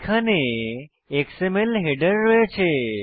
এখানে XML header রয়েছে